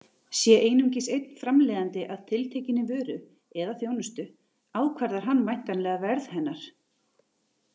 Sé einungis einn framleiðandi að tiltekinni vöru eða þjónustu ákvarðar hann væntanlega verð hennar.